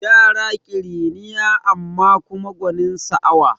Yara ƙiriniya amma kuma gwanin sa'awa